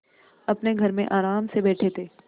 अपने घर में आराम से बैठे थे